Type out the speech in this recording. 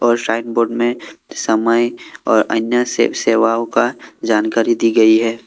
और sign board में समय और अन्य सेवाओं का जानकारी दी गई है।